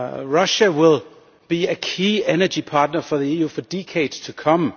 Russia will be a key energy partner for the EU for decades to come.